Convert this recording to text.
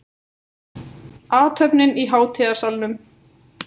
Athöfnin í hátíðasalnum